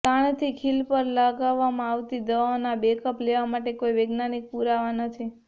તાણથી ખીલ પર લાવવામાં આવતી દાવાઓનો બેકઅપ લેવા માટે કોઈ વૈજ્ઞાનિક પુરાવા નથી